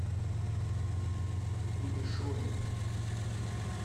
кулешове